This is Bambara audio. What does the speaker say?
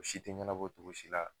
O si te ɲɛnabɔ togo si la